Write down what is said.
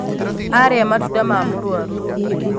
Arĩa matunda ma mũrwaru.